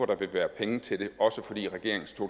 der vil være penge til også fordi regeringens to